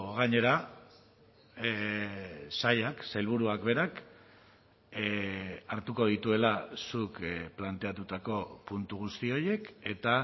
gainera sailak sailburuak berak hartuko dituela zuk planteatutako puntu guzti horiek eta